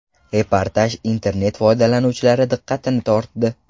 Reportaj internet foydalanuvchilari diqqatini tortdi.